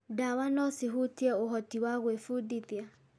Ndawa no cihutie ũhoti wa gwĩbundithia.